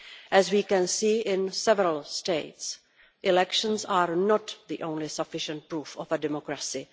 As we can see in several States, elections are not the only sufficient proof of a democracy.